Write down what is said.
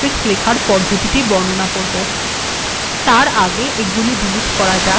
আমি এখন জটিলতর েমট্িরক্স্লেখার পদ্ধতি বর্ণনা করব